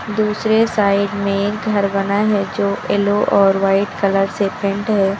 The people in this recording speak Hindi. दूसरे साइड में एक घर बना है जो येलो और वाइट कलर से पेंट है।